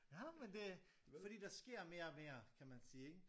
Nej men det fordi der sker mere og mere kan man sige ikke